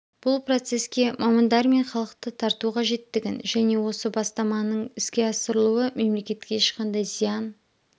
бұл процеске мамандар мен халықты тарту қажеттігін және осы бастаманың іске асырылуы мемлекетке ешқандай зиян